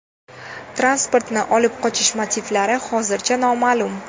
Transportni olib qochish motivlari hozircha noma’lum.